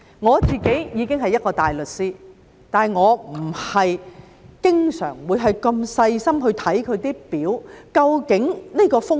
我已經是一個大律師，但我也不是經常會如此小心地看那些表和究竟有多少風險。